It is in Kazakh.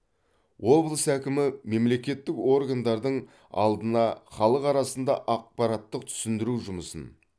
облыс әкімі мемлекеттік органдардың алдына халық арасында ақпараттық түсіндіру жұмысын